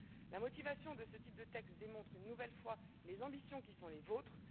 La motivation de ce type de texte démontre une nouvelle fois les ambitions qui sont les vôtres.